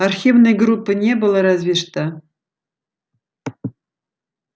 архивной группы не было разве что